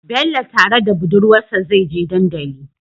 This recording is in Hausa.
Bello tare da budurwar sa zai je dandali